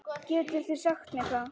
Getið þið sagt mér það?